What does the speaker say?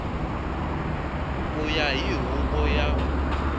ku ya hi huvo ya